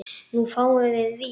Nú fáum við vísu?